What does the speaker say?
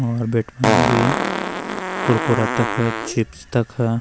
और बिठ्वानी भी कुरकुरा तख चिप्स तख।